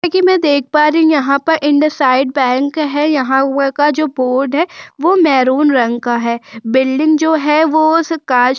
कि मैं देख पा रही हूं यहाँ पर इंडसइंड बैंक है यहाँ हुआ का जो बोर्ड है वह मैंरून रंग का है बिल्डिंग जो है वह उस कांच की --